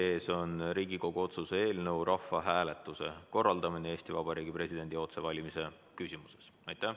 Meie ees on Riigikogu otsuse eelnõu "Rahvahääletuse korraldamine Eesti Vabariigi presidendi otsevalimise küsimuses".